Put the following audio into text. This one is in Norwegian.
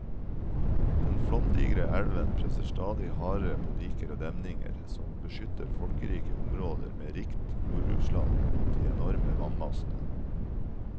Den flomdigre elven presser stadig hardere på diker og demninger, som beskytter folkerike områder med rikt jordbruksland mot de enorme vannmassene.